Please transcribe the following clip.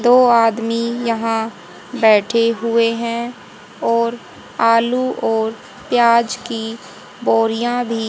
दो आदमी यहां बैठे हुए हैं और आलू और प्याज की बोरिया भी--